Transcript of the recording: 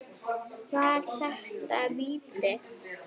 Var þetta víti?